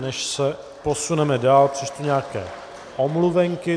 Než se posuneme dál, přečtu nějaké omluvenky.